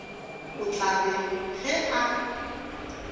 o tla re ge a